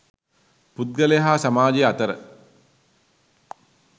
පුද්ගලයා හා සමාජය අතර